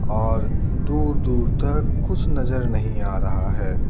और दूर-दूर तक कुछ नजर नहीं आ रहा है।